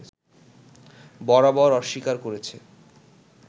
বরাবর অস্বীকার করেছে